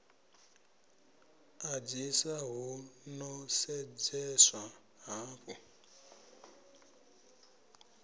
ḓadzisa hu ḓo sedzeswa hafhu